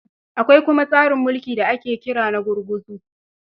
Akwai kuma tsarin mulki da ake kira na gurguzu.